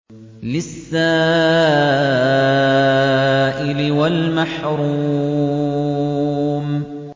لِّلسَّائِلِ وَالْمَحْرُومِ